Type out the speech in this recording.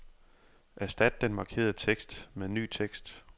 Erstat den markerede tekst med ny tekst.